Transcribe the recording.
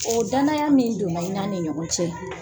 O danaya min don na i n'ani ɲɔgɔn cɛ.